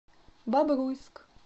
бобруйск